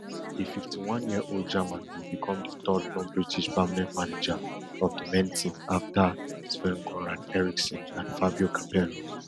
di fifty-one year old german go become di third non-british permanent manager of di men team afta svengoran eriksson and fabio capello